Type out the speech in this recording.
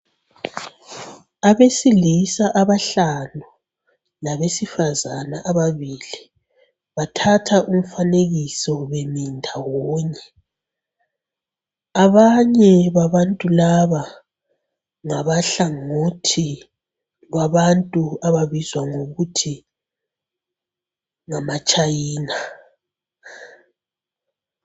Abesilisa abahlanu labesifazana ababili, bathatha umfanekiso bemi ndawonye. Abanye babantu laba ngabahlangothi lwabantu ababizwa ngokuthi ngamaTshayina.